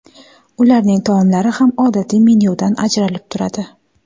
Ularning taomlari ham odatiy menyudan ajralib turadi.